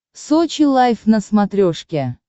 сочи лайв на смотрешке